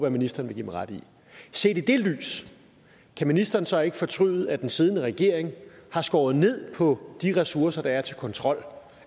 at ministeren vil give mig ret i set i det lys kan ministeren så ikke fortryde at den siddende regering har skåret ned på de ressourcer der er til kontrol